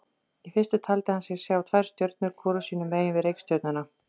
Í fyrstu taldi hann sig sjá tvær stjörnur hvor sínu megin við reikistjörnuna.